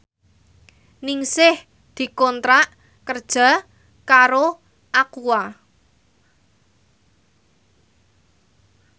Ningsih dikontrak kerja karo Aqua